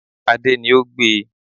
Adé ni o gbe